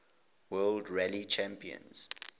world rally championship